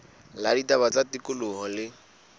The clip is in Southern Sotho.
la ditaba tsa tikoloho le